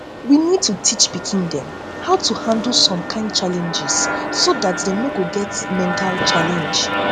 we need to teach pikin dem how to handle some kind challenge so dat dem no go get mental challenge